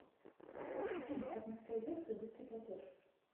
афина как настроить опцию быстрый платеж